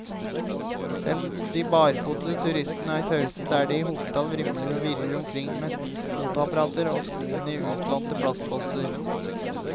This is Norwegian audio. Selv de barfotede turistene er tause der de i hopetall vrimler og virrer omkring med fotoapparater og skoene i utlånte plastposer.